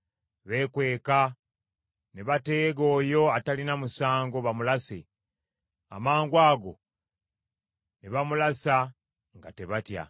Beekweka ne bateega oyo atalina musango bamulase; amangwago ne bamulasa nga tebatya.